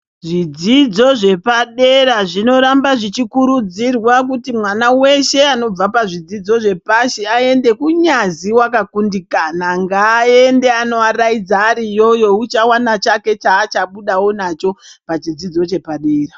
Zvidzidzo zvepadera zvinoramba zvichikurudzirwa kuti mwana weshe anobva pazvidzidzo zvepashi aende kunyazi wakakundikana ngaende anoaraidza ari iyoyo uchawana chake chaachabudawo nacho pachidzidzo chepadera.